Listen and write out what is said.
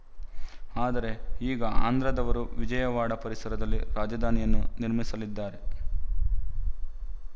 ಆದರೆ ಈಗ ಆಂಧ್ರದವರು ವಿಜಯವಾಡ ಪರಿಸರದಲ್ಲಿ ರಾಜಧಾನಿಯನ್ನು ನಿರ್ಮಿಸಲಿದ್ದಾರೆ